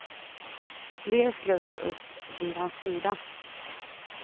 Fler sluter upp vid hans sida.